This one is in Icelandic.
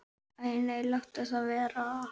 Æ nei, láttu það vera.